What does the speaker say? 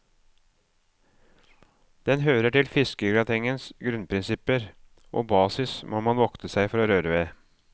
Den hører til fiskegratengens grunnprinsipper, og basis må man vokte seg for å røre ved.